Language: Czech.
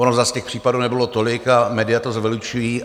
Ono zas těch případů nebylo tolik a média to zveličují.